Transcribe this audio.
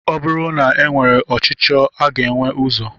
Ọ bụrụ na e nwere ọchicho a ga enwe ụzọ?